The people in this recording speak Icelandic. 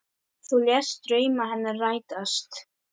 Þú lést drauma hennar rætast.